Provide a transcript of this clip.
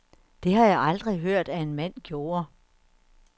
Det har jeg aldrig hørt, at en mand gjorde.